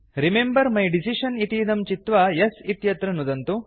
remember my decision इतीदं चित्वा yes इत्यत्र नुदन्तु